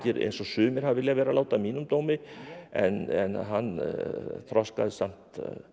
eins og sumir hafa viljað vera að láta að mínum dómi en hann þroskaðist samt